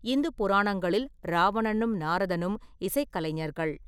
இந்து புராணங்களில் ராவணனும் நாரதனும் இசைக்கலைஞர்கள்.